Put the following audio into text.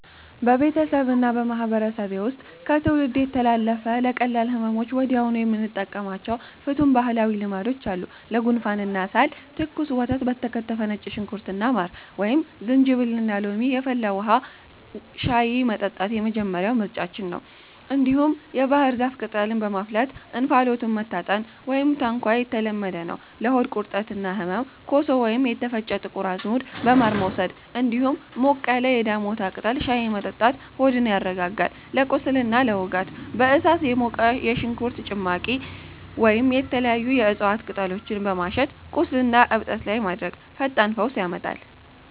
በቤተሰቤና በማህበረሰቤ ውስጥ ከትውልድ የተላለፉ፣ ለቀላል ህመሞች ወዲያውኑ የምንጠቀማቸው ፍቱን ባህላዊ ልማዶች አሉ፦ ለጉንፋንና ሳል፦ ትኩስ ወተት በከተፈ ነጭ ሽንኩርትና ማር፣ ወይም ዝንጅብልና ሎሚ የፈላ ውሃ (ሻይ) መጠጣት የመጀመሪያው ምርጫችን ነው። እንዲሁም የባህር ዛፍ ቅጠልን በማፍላት እንፋሎቱን መታጠን (ታንኳ) የተለመደ ነው። ለሆድ ቁርጠትና ህመም፦ ኮሶ ወይም የተፈጨ ጥቁር አዝሙድ በማር መውሰድ፣ እንዲሁም ሞቅ ያለ የዳሞታ ቅጠል ሻይ መጠጣት ሆድን ያረጋጋል። ለቁስልና ለውጋት፦ በእሳት የሞቀ የሽንኩርት ጭማቂ ወይም የተለያዩ የእጽዋት ቅጠሎችን በማሸት ቁስልና እብጠት ላይ ማድረግ ፈጣን ፈውስ ይሰጣል።